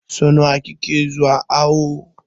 So nawa kike zuwa awo?